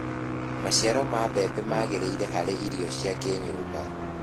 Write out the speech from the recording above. maciaro ma mbembe magiriire harĩ irio cia kĩnyumba